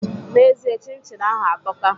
N'ezie, chin chin ahụ atọka